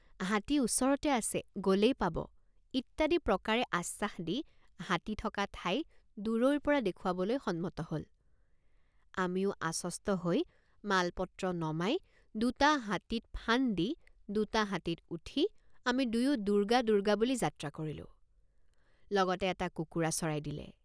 হাতী ওচৰতে আছে গলেই পাব ইত্যাদি প্ৰকাৰে আশ্বাস দি হাতী থক৷ ঠাই দুৰৈৰপৰা দেখুৱাবলৈ সন্মত হল আমিও আশ্বস্ত হৈ মালপত্ৰ নমাই দুটা হাতীত ফান্দ দি দুটা হাতীত উঠি আমি দুয়ো দুৰ্গা দুৰ্গা বুলি যাত্ৰা কৰিলেঁ৷। লগতে এটা কুকুৰা চৰাই দিলে।